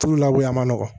Tulu labɔ